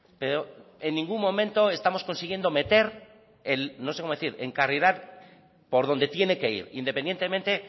pero en ningún momento estamos consiguiendo meter el no sé cómo decir encarrilar por dónde tiene que ir independientemente